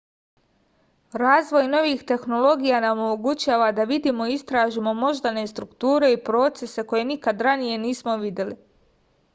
razvoj novih tehnologija nam omogućava da vidimo i istražimo moždane strukture i procese koje nikad ranije nismo videli